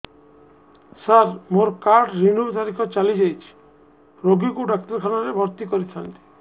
ସାର ମୋର card renew ତାରିଖ ଚାଲି ଯାଇଛି ରୋଗୀକୁ ଡାକ୍ତରଖାନା ରେ ଭର୍ତି କରିଥାନ୍ତି